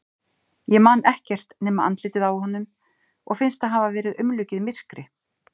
Ég man ekkert nema andlitið á honum og finnst það hafa verið umlukið myrkri.